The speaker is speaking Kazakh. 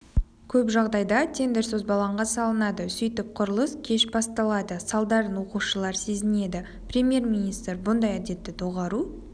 көп жағдайда тендер созбалаңға салынады сөйтіп құрылыс кеш басталады салдарын оқушылар сезінеді премьер-министр бұндай әдетті доғару